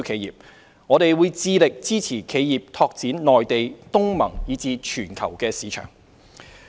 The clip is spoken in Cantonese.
此外，我們會致力支持企業拓展內地、東盟，以至全球的市場。